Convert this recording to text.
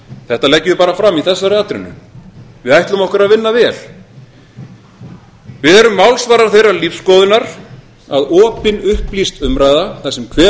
þetta leggjum við bara fram í þessari atrennu við ætlum okkur að vinna vel við erum málsvarar þeirrar lífsskoðunar að opin upplýst umræða þar sem hver